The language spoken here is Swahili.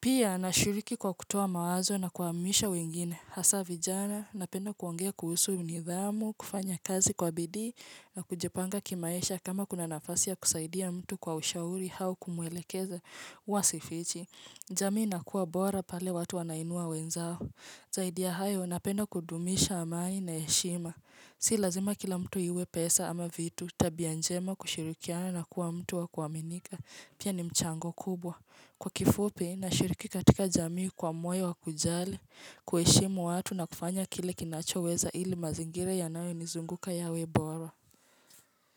Pia, nashiriki kwa kutoa mawazo na kuhamasisha wengine. Hasa vijana napenda kuongea kuhusu nidhamu, kufanya kazi kwa bidii na kujipanga kimaisha. Kama kuna nafasi ya kusaidia mtu kwa ushauri au kumwelekeza huwa sifichi. Jamii inakuwa bora pale watu wanainua wenzao. Zaidi ya hayo napenda kudumisha amani na heshima. Si lazima kila mtu awe na pesa ama vitu tabia njema kushirikiana na kuwa mtu wa kuaminika. Pia ni mchango kubwa. Kwa kifupi nashiriki katika jamii kwa moyo wa kujali, kuheshimu watu na kufanya kile ninachoweza ili mazingira yanayonizunguka yawe bora.